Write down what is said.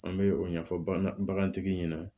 An bɛ o ɲɛfɔ bagantigi ɲɛna